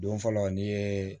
Don fɔlɔ n'i ye